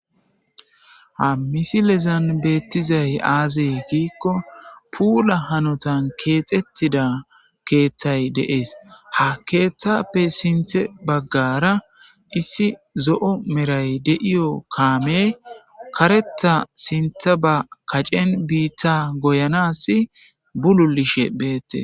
ha misilezan beettizay aazey giikko puula hanotan keexettida keeththay deees ha keeththappe sinthe baggara issi zo7o meray de7iyo kaame kareta sintha ba kacen biitta goyanasi bululishe beette